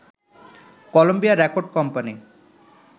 Colombia record company